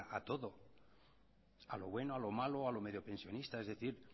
para todo a lo bueno a lo malo a lo mediopensionista es decir